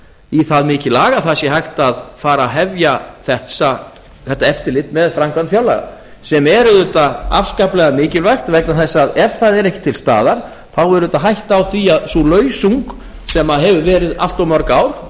í það mikið lag að það sé hægt að fara að hefja þetta eftirlit með framkvæmd fjárlaga sem er auðvitað afskaplega mikilvægt vegna þess að ef það er ekki til staðar þá er auðvitað hætta á því að sú lausung sem hefur verið allt of mörg ár